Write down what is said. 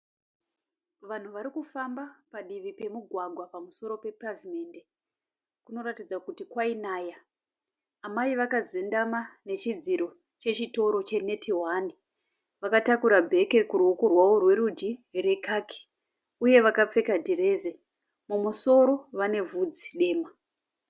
Vanhu varikufamba padivi pemugwagwa pamusoro pepavhumendi. Kunoratdza kuti kwainaya. Amai vakazendama nechidziro chechitoro che neti hwani, vakatakura bheke kuruoko rwavo rwerudyi rekaki uye vakapfeka dhirezi. Mumusoro vane vhudzi dema.